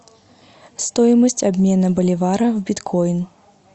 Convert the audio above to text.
стоимость обмена боливара в биткоин